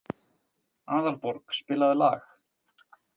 Aðalborg, spilaðu lag.